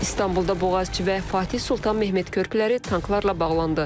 İstanbulda Boğazçı və Fatih Sultan Mehmet körpüləri tanklarla bağlandı.